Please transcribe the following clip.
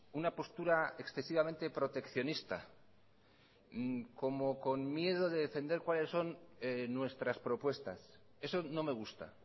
una postura excesivamente proteccionista como con miedo de defender cuales son nuestras propuestas eso no me gusta